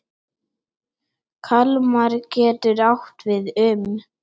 Kalmar getur átt við um